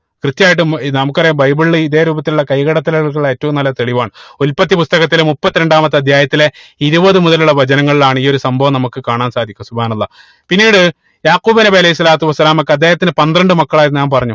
കൃത്യായിട്ട് ഏർ നമുക്കറിയ ബൈബിളിൽ ഇതേ രൂപത്തിലുള്ള കൈകടത്തലുകൾ ഏറ്റവും നല്ല തെളിവാണ് ഉൽപ്പത്തി പുസ്തകത്തിലെ മുപ്പത്തിരണ്ടാമത്തെ അധ്യായത്തിലെ ഇരുപത് മുതലുള്ള വചനങ്ങളിലാണ് ഈ ഒരു സംഭവം നമുക്ക് കാണാൻ സാധിക്കുക പിന്നീട് യാഖൂബ് നബി അലൈഹി സ്വലാത്തു വസ്സലാമക്കു അദ്ദേഹത്തിന് പന്ത്രണ്ട് മക്കളായിരുന്നു ഞാൻ പറഞ്ഞു